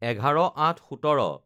১১/০৮/১৭